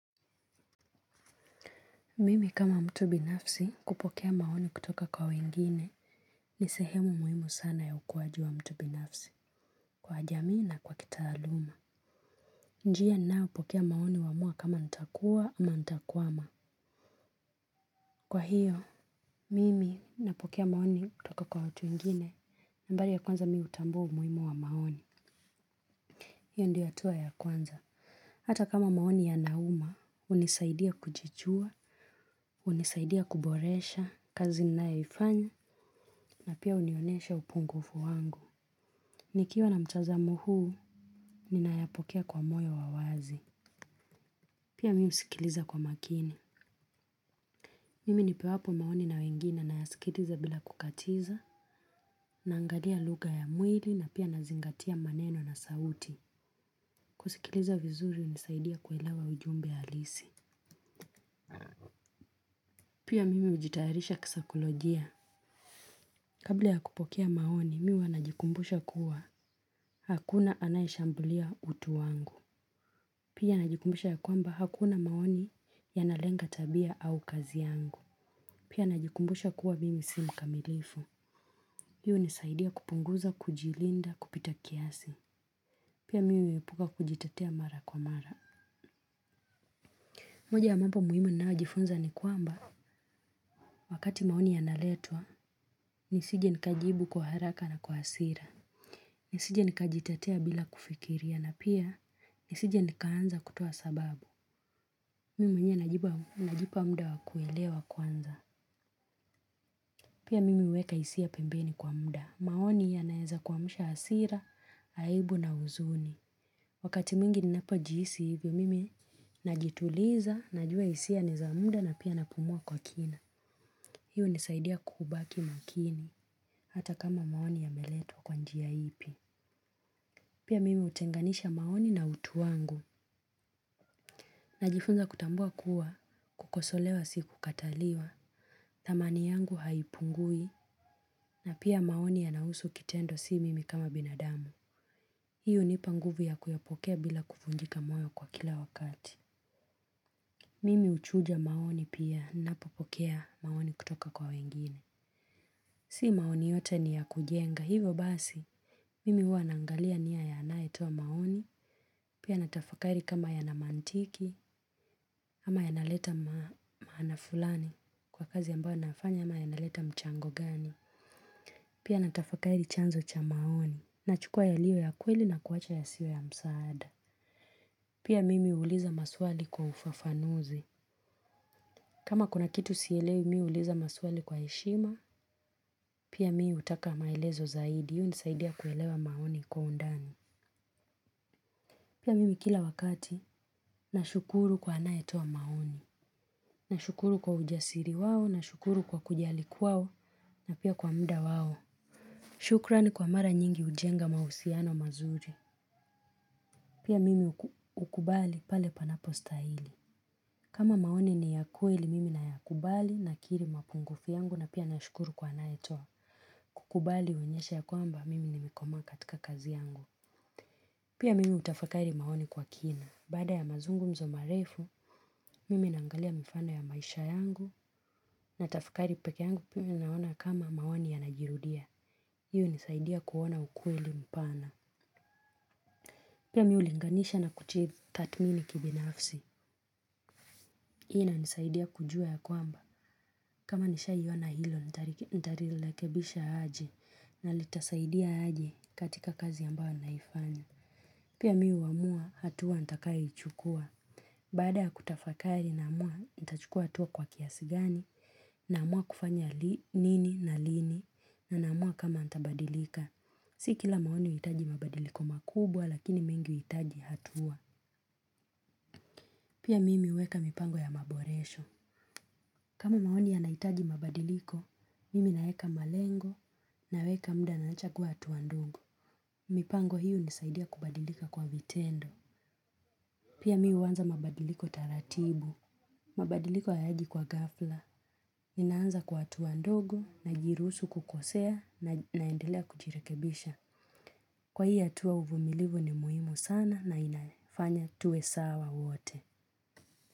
Mimi kama mtu binafsi kupokea maoni kutoka kwa wengine ni sehemu muhimu sana ya ukuaji wa mtu binafsi kwa jamii na kwa kitaaluma. Njia ninayo pokea maoni huamua kama nitakua ama nitakwama. Kwa hiyo, mimi napokea maoni kutoka kwa watu wengine. Nambari ya kwanza mimi hutambua umuhimu wa maoni. Hiyo ndiyo hatua ya kwanza. Hata kama maoni yanauma, hunisaidia kujijua, hunisaidia kuboresha kazi ninayoifanya, na pia hunionyesha upungufu wangu. Nikiwa na mtazamo huu, ninayapokea kwa moyo wa wazi. Pia mimi husikiliza kwa makini. Mimi nipewapo maoni na wengine nayasikiliza bila kukatiza, naangalia lugha ya mwili, na pia nazingatia maneno na sauti. Kusikiliza vizuri hunisaidia kuelewa ujumbe halisi. Pia mimi hujitayarisha kisaikolojia. Kabla ya kupokea maoni, mimi huwa najikumbusha kuwa hakuna anayeshambulia utu wangu. Pia najikumbusha ya kwamba hakuna maoni yanalenga tabia au kazi yangu. Pia najikumbusha kuwa mimi si mkamilifu. Hii hunisaidia kupunguza, kujilinda, kupita kiasi. Pia mimi huepuka kujitetea mara kwa mara. Moja ya mambo muhimu ninayojifunza ni kwamba wakati maoni yanaletwa, nisije nikajibu kwa haraka na kwa hasira. Nisije nikajitetea bila kufikiria na pia, nisije nikaanza kutoa sababu. Mimi mwenyewe najipa mda wakuelewa kwanza. Pia mimi huweka hisia pembeni kwa mda. Maoni yanaweza kuamsha hasira, aibu na huzuni. Wakati mwingi ninapojihisi hivyo mimi najituliza, najua hisia ni za mda na pia napumua kwa kina. Hii hunisaidia kubaki makini, hata kama maoni yameletwa kwa njia ipi. Pia mimi hutenganisha maoni na utu wangu. Najifunza kutambua kuwa, kukosolewa si kukataliwa, dhamani yangu haipungui, na pia maoni yanahusu kitendo si mimi kama binadamu. Hii hunipa nguvu ya kuyapokea bila kufungika moyo kwa kila wakati. Mimi huchuja maoni pia ninapopokea maoni kutoka kwa wengine. Si maoni yote ni ya kujenga, hivyo basi, mimi huwa naangalia nia ya anayetoa maoni, pia natafakari kama yana mantiki, ama yanaleta maana fulani kwa kazi ambayo nafanya ama yanaleta mchango gani, pia natafakari chanzo cha maoni, nachukua yaliyo ya kweli na kuwacha yasiyo ya msaada. Pia mimi huuliza maswali kwa ufafanuzi. Kama kuna kitu sielewi mimi huuliza maswali kwa heshima, pia mimi hutaka maelezo zaidi. Hunisaidia kuelewa maoni kwa undani. Pia mimi kila wakati, nashukuru kwa anayetoa maoni. Nashukuru kwa ujasiri wao, nashukuru kwa kujali kwao, na pia kwa muda wao. Shukrani kwa mara nyingi hujenga mahusiano mazuri. Pia mimi hukubali pale panapostahili. Kama maoni ni ya kweli mimi nayakubali nakiri mapungufu yangu na pia nashukuru kwa anayetoa, kukubali huonyesha ya kwamba mimi nimekomaa katika kazi yangu. Pia mimi hutafakari maoni kwa kina, baada ya mazungumzo marefu, mimi naangalia mifano ya maisha yangu natafakari peke yangu pia mimi naona kama maoni yanajirudia. Hiyo inasaidia kuona ukweli mpana. Pia mimi hulinganisha na kujitathmini kibinafsi. Hii inanisaidia kujua ya kwamba. Kama nishaiona hilo, nitalirekebisha aje na litasaidia aje katika kazi ambao naifanya. Pia mimi huamua hatua nitakayoichukua. Baada ya kutafakari naamua, nitachukua hatua kwa kiasi gani naamua kufanya nini na lini na naamua kama nitabadilika. Si kila maoni huhitaji mabadiliko makubwa lakini mengi huhitaji hatua. Pia mimi huweka mipango ya maboresho. Kama maoni yanahitaji mabadiliko, mimi naeka malengo naweka muda naacha kuwa hatua ndogo. Mipango hii hunisaidia kubadilika kwa vitendo. Pia mimi huanza mabadiliko taratibu. Mabadiliko hayaji kwa ghafla. Naanza kwa hatua ndogo najiruhusu kukosea naendelea kujirekebisha. Kwa hii hatua uvumilivu ni muhimu sana na inafanya tuwe sawa wote.